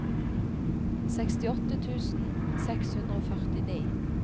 sekstiåtte tusen seks hundre og førtini